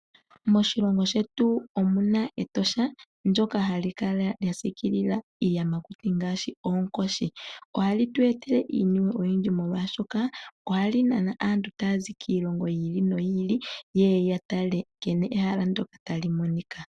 Moshilongo shetu omuna Etosha ndoka ha li kala lya siikilila iiyamakuti ngaashi oonkoshi. Oha li tu etele iiniwe oyindji molwashoka oha li nana aantu taya zi kiilongo yi ili noyi ili, ye ye ya tale nkene ehala ndoka tali monika.